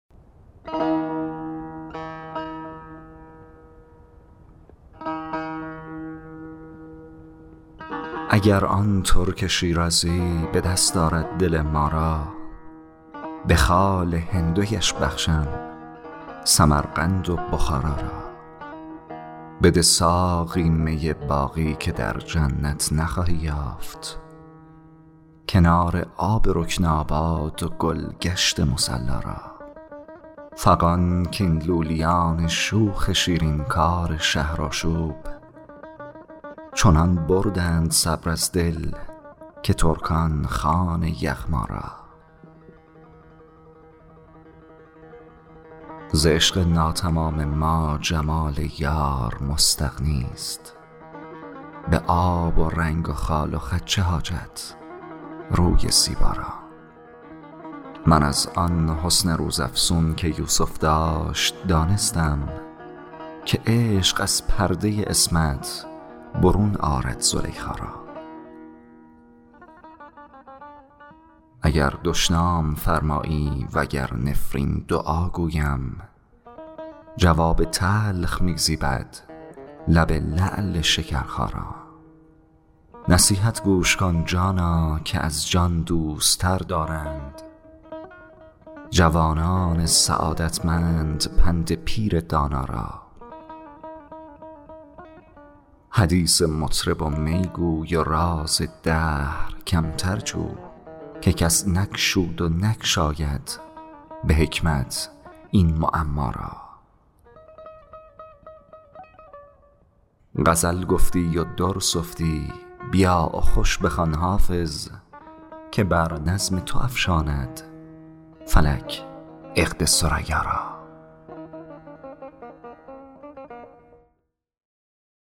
اگر آن ترک شیرازی به دست آرد دل ما را به خال هندویش بخشم سمرقند و بخارا را بده ساقی می باقی که در جنت نخواهی یافت کنار آب رکناباد و گل گشت مصلا را فغان کاین لولیان شوخ شیرین کار شهرآشوب چنان بردند صبر از دل که ترکان خوان یغما را ز عشق ناتمام ما جمال یار مستغنی است به آب و رنگ و خال و خط چه حاجت روی زیبا را من از آن حسن روزافزون که یوسف داشت دانستم که عشق از پرده عصمت برون آرد زلیخا را اگر دشنام فرمایی و گر نفرین دعا گویم جواب تلخ می زیبد لب لعل شکرخا را نصیحت گوش کن جانا که از جان دوست تر دارند جوانان سعادتمند پند پیر دانا را حدیث از مطرب و می گو و راز دهر کمتر جو که کس نگشود و نگشاید به حکمت این معما را غزل گفتی و در سفتی بیا و خوش بخوان حافظ که بر نظم تو افشاند فلک عقد ثریا را